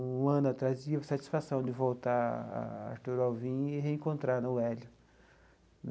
Um ano atrás, tive a satisfação de voltar à Artur Alvim e reencontrar o Hélio.